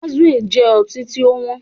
Azul jẹ ọtí tí ó wọn